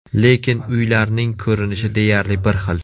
Lekin uylarning ko‘rinishi deyarli bir xil.